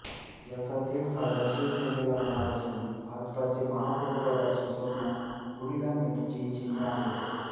याचा थेट फायदा शिवसेनेला होणार असून भाजपाचे महापौरपदाचे स्वप्न धुळीला मिळण्याची चिन्हे आहेत